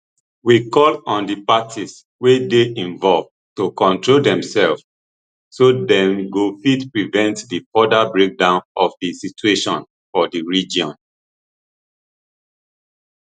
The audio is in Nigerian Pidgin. we call on di parties wey dey involved to control demsef so dem go fit prevent di further breakdown of di situation for di region